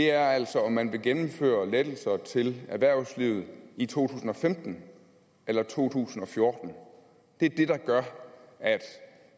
er altså om man vil gennemføre lettelser til erhvervslivet i to tusind og femten eller to tusind og fjorten det er det der gør at